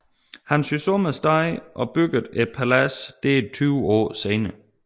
Han syntes om stedet og byggede et palads der tyve år senere